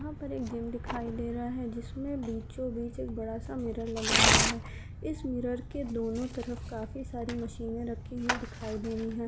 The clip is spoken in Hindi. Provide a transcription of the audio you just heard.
यहाँ पर एक जिम दिखाई दे रहा है जिस मे बीचों बीच एक बड़ा सा मिरर लगा हुआ है इस मिरर के दोनों तरफ काफी सारी मशीने रखी हुई दिखाई दे रही हैं।